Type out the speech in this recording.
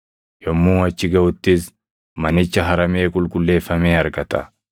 Yommuu achi gaʼuttis manicha haramee qulqulleeffamee argata.